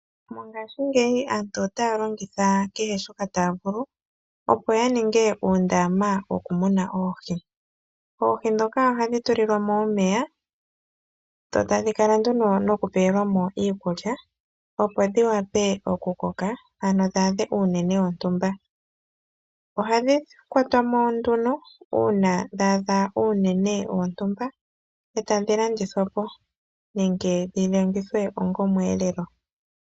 Mongashingeyi aantu otaya longitha kehe shoka taya vulu, opo ya ninge uundaama wokumunina oohi. Oohi ndhoka ohadhi tulilwa mo omeya, dho tadhi kala nduno nokupewelwa mo iikulya, opo dhi wape okukoka, ano dhi adhe uunene wontumba. Ohadhi kwatwa mo nduno uuna dha adha uuunene wontumba e tadhi landithwa po nenge dhi longithwe onga omweelelelo.